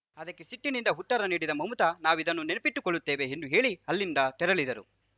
ಅದಕ್ಕೆ ಸಿಟ್ಟಿನಿಂದ ಉತ್ತರ ನೀಡಿದ ಮಮತಾ ನಾವಿದನ್ನು ನೆನಪಿಟ್ಟುಕೊಳ್ಳುತ್ತೇವೆ ಎಂದು ಹೇಳಿ ಅಲ್ಲಿಂದ ತೆರಳಿದರು